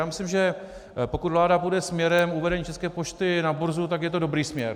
Já myslím, že pokud vláda půjde směrem uvedení České pošty na burzu, tak je to dobrý směr.